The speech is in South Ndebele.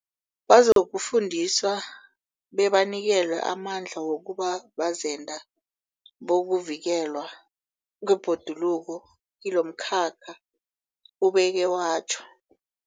Bazokufundiswa bebanikelwe amandla wokuba bazenda bokuvikelwa kwebhoduluko kilomkhakha, ubeke watjho.